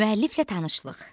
Müəlliflə tanışlıq.